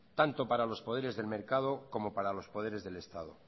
tanto para los poderes del mercado como para los poderes del estado